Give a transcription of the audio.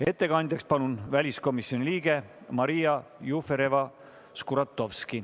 Ettekandjaks palun väliskomisjoni liikme Maria Jufereva-Skuratovski.